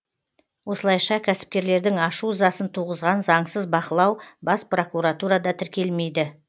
осылайша кәсіпкерлердің ашу ызасын туғызған заңсыз бақылау бас прокуратурада тіркелмейді